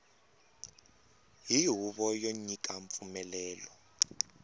hi huvo yo nyika mpfumelelo